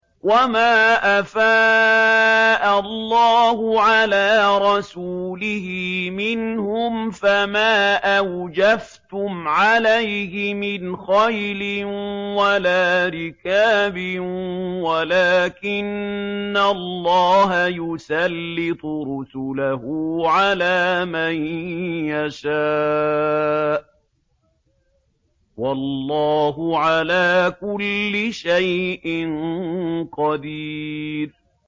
وَمَا أَفَاءَ اللَّهُ عَلَىٰ رَسُولِهِ مِنْهُمْ فَمَا أَوْجَفْتُمْ عَلَيْهِ مِنْ خَيْلٍ وَلَا رِكَابٍ وَلَٰكِنَّ اللَّهَ يُسَلِّطُ رُسُلَهُ عَلَىٰ مَن يَشَاءُ ۚ وَاللَّهُ عَلَىٰ كُلِّ شَيْءٍ قَدِيرٌ